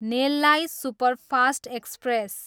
नेललाई superfast express